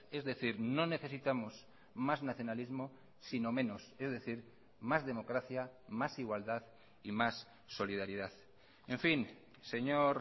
es decir no necesitamos más nacionalismo sino menos es decir más democracia más igualdad y más solidaridad en fin señor